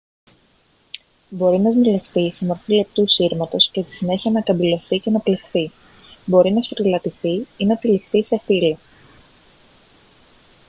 μπορεί να σμιλευτεί σε μορφή λεπτού σύρματος και στη συνέχεια να καμπυλωθεί και να πλεχθεί μπορεί να σφυρηλατηθεί ή να τυλιχθεί σε φύλλα